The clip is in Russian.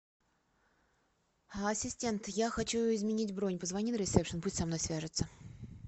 ассистент я хочу изменить бронь позвони на ресепшен пусть со мной свяжутся